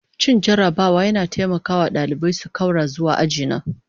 Cin jarabawa yana taimaka wa ɗalibai su ƙaura zuwa aji na